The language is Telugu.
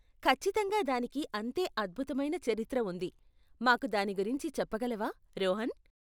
ఖచ్చితంగా దానికి అంతే అద్భుతమైన చరిత్ర ఉంది, మాకు దాని గురించి చెప్పగలవా, రోహన్?